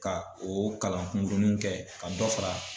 Ka o kalan kunkuruninw kɛ ka dɔ fara